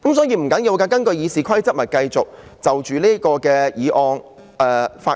因此，不要緊，根據《議事規則》，大家可以繼續就這項議案發言。